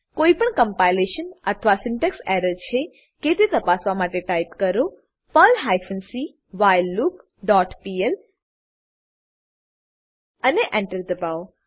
કોઈપણ કમ્પાઈલેશન અથવા syntax error છે કે તે તપાસવા માટે ટાઈપ કરો Perl hyphen c while loop dot PL અને Enter એન્ટર દબાવો